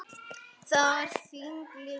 Það var þinn litur.